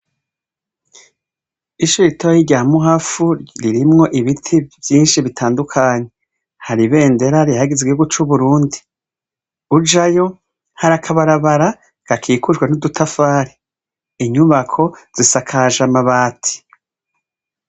Ishure ritoya rya Muhafu ririmwo ibiti vyinshi bitandukanye, hari ibendera rihayagiza igihugu c'Uburundi, ujayo hari akabarabara gakikujwe n'udutafari, inyubako zisakajwe amabati.